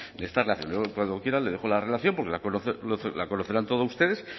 yo cuando quiera le dejo la relación porque lo conocerán toda ustedes